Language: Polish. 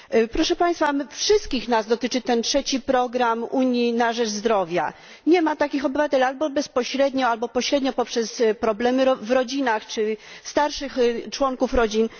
Proszę Państwa, wszystkich nas dotyczy ten trzeci program Unii na rzecz zdrowia wszystkich obywateli, albo bezpośrednio, albo pośrednio poprzez problemy w rodzinach czy starszych członków rodzin.